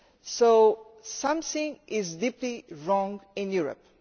So something is deeply wrong in Europe.